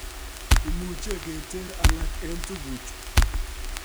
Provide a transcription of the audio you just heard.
Imuche keter alak en tuguchu